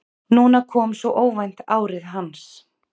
Núna kom svo óvænt árið hans.